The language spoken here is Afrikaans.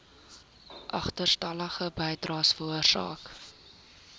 agterstallige bydraes veroorsaak